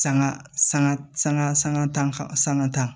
Sanga sanga sanga sanga tan sanga tan